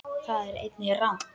Það er einnig rangt.